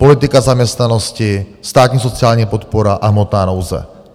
Politika zaměstnanosti, státní sociální podpora a hmotná nouze.